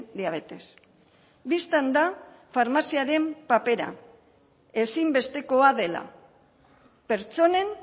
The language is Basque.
diabetes bistan da farmaziaren papera ezinbestekoa dela pertsonen